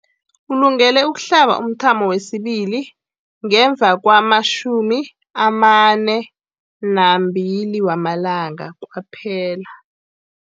Ulungele ukuhlaba umthamo wesibili ngemva kwama-42 wamalanga kwaphela.